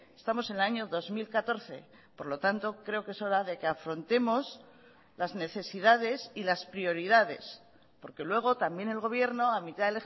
estamos en el año dos mil catorce por lo tanto creo que es hora de que afrontemos las necesidades y las prioridades porque luego también el gobierno a mitad